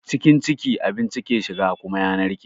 Cikin ciki abinci ke shiga kuma ya narke.